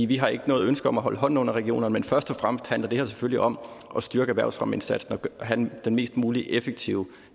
vi har ikke noget ønske om at holde hånden under regionerne men først og fremmest handler det her selvfølgelig om at styrke erhvervsfremmeindsatsen og have den mest mulige effektive